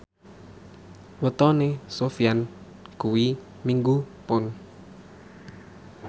wetone Sofyan kuwi Minggu Pon